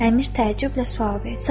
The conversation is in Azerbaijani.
Əmir təəccüblə sual verdi.